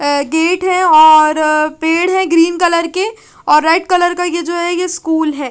आ gate है और पेड़ है ग्रीन कलर के और रेड कलर का ये जो है ये स्कूल है।